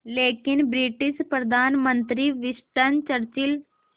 लेकिन ब्रिटिश प्रधानमंत्री Winston Churchill